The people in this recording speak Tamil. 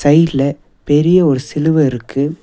சைட்ல பெரிய ஒரு சிலுவ இருக்கு.